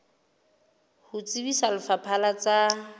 ho tsebisa lefapha la tsa